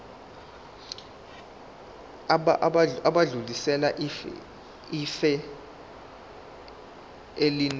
bayodlulisela ifa elinewili